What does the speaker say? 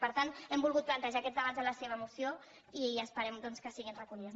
per tat hem volgut plantejar aquest debat en la seva moció i esperem doncs que hi siguin recollides